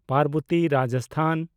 Parbati (Rajasthan)